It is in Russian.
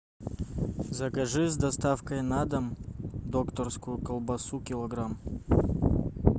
закажи с доставкой на дом докторскую колбасу килограмм